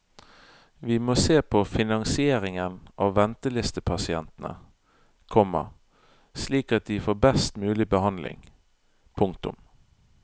Vi må se på finansieringen av ventelistepasientene, komma slik at de får best mulig behandling. punktum